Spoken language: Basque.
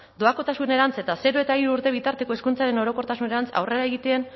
doakotasunerantz eta zero eta hiru urte bitarteko hezkuntzaren orokortasunerantz aurrera egiten